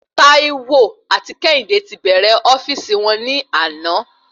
Taiwo ati kéhìndé ti bẹrẹ ofíìsì won ni àná